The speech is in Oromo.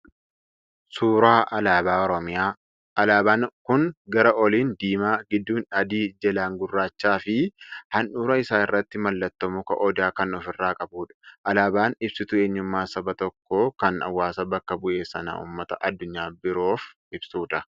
Suuraa alaabaa Oromiyaa. Alaabaan kun gara oliin diimaa, gidduun adii, jalaan gurraachaa fi handhuura isaa irratti mallattoo muka Odaa kan ofirraa qabudha. Alaabaan ibsituu eenyummaa saba tokkoo kan hawaasa bakka bu'e sana uummata addunyaa biroof ibsudha.